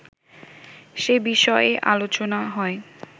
সে বিষয়েই আলোচনা হয়